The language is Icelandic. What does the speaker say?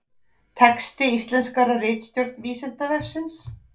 Texti íslenskaður af ritstjórn Vísindavefsins.